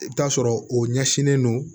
I bɛ t'a sɔrɔ o ɲɛsinnen don